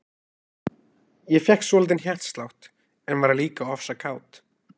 Ég fékk svolítinn hjartslátt, en varð líka ofsa kát.